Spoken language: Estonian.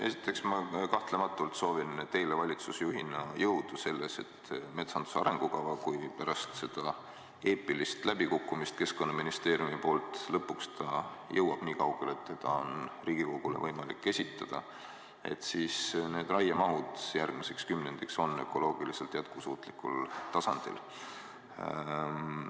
Esiteks, ma kahtlematult soovin teile valitsusjuhina jõudu selleks, et metsanduse arengukava pärast seda eepilist läbikukkumist Keskkonnaministeeriumi poolt jõuaks lõpuks nii kaugele, et seda on võimalik Riigikogule esitada ja raiemahud järgmiseks kümnendiks on ökoloogiliselt jätkusuutlikul tasandil.